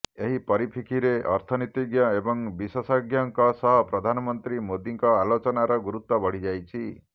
ଏହି ପରିପ୍ରେକ୍ଷୀରେ ଅର୍ଥନୀତିଜ୍ଞ ଏବଂ ବିଶେଷଜ୍ଞଙ୍କ ସହ ପ୍ରଧାନମନ୍ତ୍ରୀ ମୋଦୀଙ୍କ ଆଲୋଚନାର ଗୁରୁତ୍ବ ବଢ଼ିଯାଇଛି